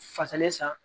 Fasalen san